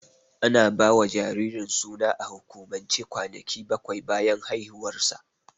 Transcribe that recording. Ana ba wa jaririn suna a hukumance kwanaki bakwai bayan haihuwarsa.